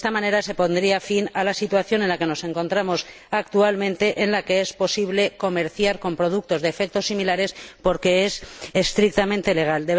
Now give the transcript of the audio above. De esta manera, se pondría fin a la situación en la que nos encontramos actualmente, en la que es posible comerciar con productos de efectos similares porque es estrictamente legal.